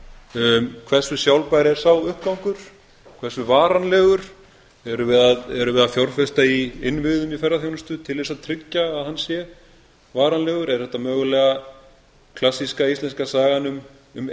aðallega hversu sjálfbær er sá uppgangur hversu varanlegur erum við að fjárfesta í innviðum í ferðaþjónustu til þess að tryggja að hann sé varanlegur er þetta mögulega klassíska íslenska sagan um